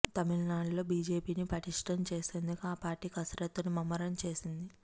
తమిళనాడులో బీజేపీని పటిష్టం చేసేందుకు ఆ పార్టీ కసరత్తును ముమ్మరం చేసింది